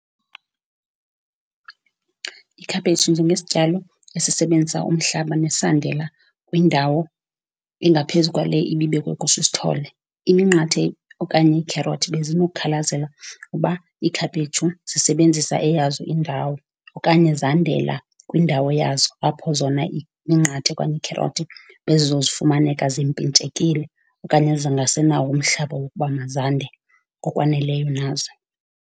Ikhaphetshu njengesityalo esebenzisa umhlaba nesandela kwindawo engaphezu kwale ibibekwe kuso isithole. Iminqathe okanye iikherothi bezinokukhalazela ukuba ikhaphetshu zisebenzisa eyazo indawo okanye zandela kwindawo yazo, apho zona iminqathe okanye iikherothi bezizofumaneka zimpintshekile okanye zingasenawo umhlaba wokuba mazande ngokwaneleyo nazo.